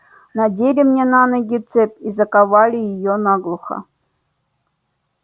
надели мне на ноги цепь и заковали её наглухо